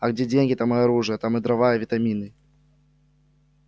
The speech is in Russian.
а где деньги там и оружие там и дрова и витамины